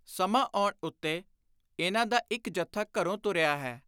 ਸਮਾਂ ਆਉਣ ਉੱਤੇ ਇਨ੍ਹਾਂ ਦਾ ਇਕ ਜਥਾ ਘਰੋਂ ਤੁਰਿਆ ਹੈ।